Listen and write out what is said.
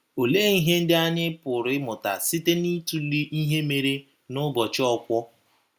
Olee ihe ndị anyị pụrụ ịmụta site n’ịtụle ihe mere n’ụbọchị Okwor?